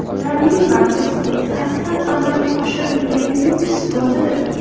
Bularning barchasi qasddan amalga oshirilganining isbotidir.